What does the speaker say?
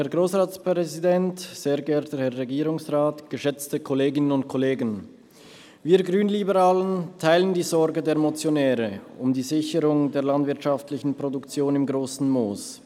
Wir Grünliberalen teilen die Sorgen der Motionäre um die Sicherung der landwirtschaftlichen Produktion im Grossen Moos.